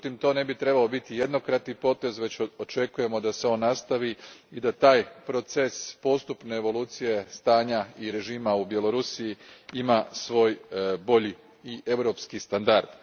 Međutim, to ne bi trebao biti jednokratni potez, već očekujemo da se on nastavi i da taj proces postupne evolucije stanja i režima u Bjelarusu ima svoj bolji i europski standard.